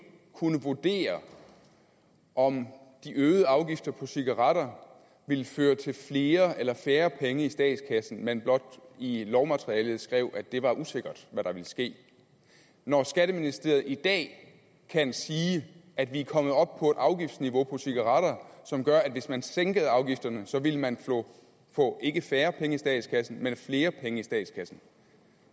kunne vurdere om de øgede afgifter på cigaretter ville føre til flere eller færre penge i statskassen men blot i lovmaterialet skrev at det var usikkert hvad der ville ske når skatteministeriet i dag kan sige at vi er kommet op på et afgiftsniveau på cigaretter som gør at hvis man sænkede afgifterne så ville man få ikke færre penge i statskassen men flere penge i statskassen